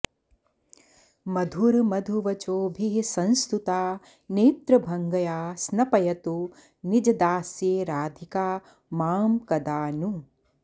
मधुरमधुवचोभिः संस्तुता नेत्रभङ्गया स्नपयतु निजदास्ये राधिका मां कदा नु